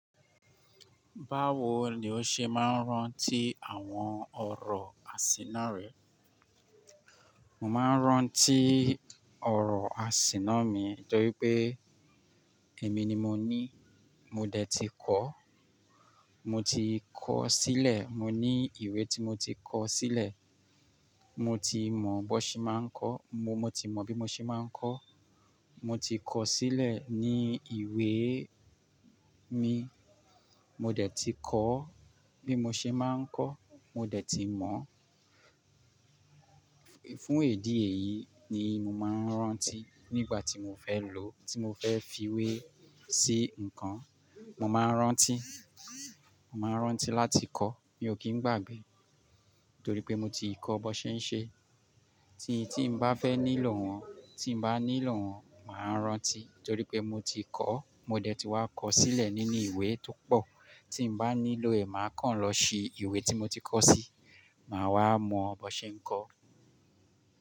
Báwo ni o ṣe máa ń rántí àwọn ọ̀rọ̀ àsíná rẹ? Mo máa ń rántí ọ̀rọ̀ àsíná mi torí pé èmi ni mo ní, mo dẹ̀ ti kọ́, mo ti kọ sílẹ̀, mo ní ìwé tí mo ti kọ sílẹ̀, mo ti mọ̀ bó ṣe máa ń kọ́, mo, mo ti mọ bí mo ṣe máa ń kọ́, mo ti kọ sílẹ̀ ní ìwé mi, mo dẹ̀ ti kọ́ bí mo ṣe máa ń kọ́, mo dẹ̀ ti mọ̀. Fún idi eyí ni mo máa ń rántí nígbà tí mo fẹ́ lò ó, tí mo fẹ́ fiwé sí ǹkan, mo máa ń rántí, mo máa ń rántí láti kọ́, mi ò kí ń gbàgbé torí pé mo ti kọ bó ṣe ń ṣe. Tí, tí n bá fẹ́ nílò òun, tí n bá nílò òun, màá rántí torí pé mo ti kọ́, mo dẹ̀ ti wá kọ sílẹ̀ nínú ìwé tó pọ̀. Tí n bá nílò ẹ̀, màá kàn lọ si ìwé tí mo ti kọ sí, màá wá mọ̀ bó ṣe ń kọ.